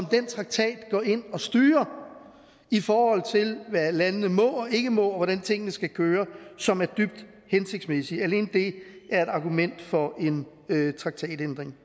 den traktat går ind og styrer i forhold til hvad landene må og ikke må og hvordan tingene skal køre som er dybt hensigtsmæssigt alene det er et argument for en traktatændring